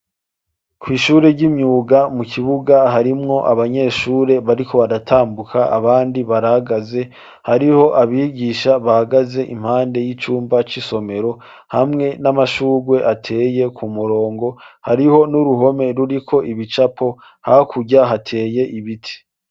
kw' ishure ry'imyuga mu kibuga harimwo abanyeshure bariko baratambuka abandi barahagaze, hariho abigisha bahagaze impande y'icumba c'isomero hamwe n'amashurwe ateye ku murongo, hariho n'uruhome ruriko ibicapo, hakurya hateye ibiti.